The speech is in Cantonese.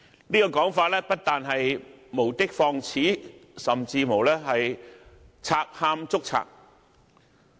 這個說法不但是無的放矢，甚至是"賊喊捉賊"。